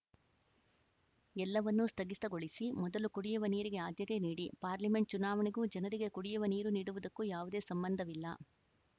ಎಲ್ಲವನ್ನೂ ಸ್ಥಗಿತಗೊಳಿಸಿ ಮೊದಲು ಕುಡಿಯುವ ನೀರಿಗೆ ಆದ್ಯತೆ ನೀಡಿ ಪಾರ್ಲಿಮೆಂಟ್‌ ಚುನಾವಣೆಗೂ ಜನರಿಗೆ ಕುಡಿಯುವ ನೀರು ನೀಡುವುದಕ್ಕೂ ಯಾವುದೇ ಸಂಬಂಧವಿಲ್ಲ